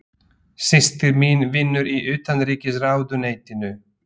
Systir mín vinnur í Utanríkisráðuneytinu.